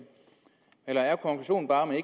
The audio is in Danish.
eller er konklusionen bare at